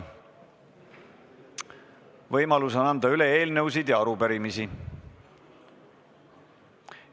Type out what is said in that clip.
Võimalus on anda üle eelnõusid ja arupärimisi.